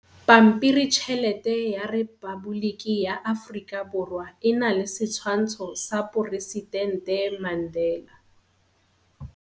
Pampiritšhelete ya Repaboliki ya Aforika Borwa e na le setshwantsho sa poresitente Mandela.